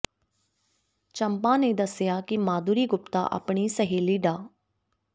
ਚੰਪਾ ਨੇ ਦੱਸਿਆ ਕਿ ਮਾਧੁਰੀ ਗੁਪਤਾ ਆਪਣੀ ਸਹੇਲੀ ਡਾ